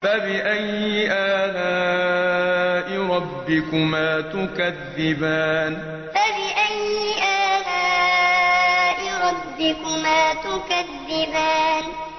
فَبِأَيِّ آلَاءِ رَبِّكُمَا تُكَذِّبَانِ فَبِأَيِّ آلَاءِ رَبِّكُمَا تُكَذِّبَانِ